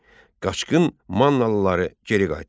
Qaçqın Mannalıları geri qaytardı.